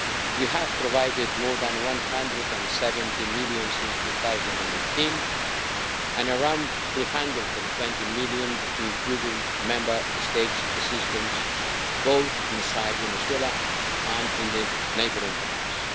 We have provided more than EUR 170 million since 2018 and around EUR 320 million including Member State assistance both inside Venezuela and in the neighbouring countries.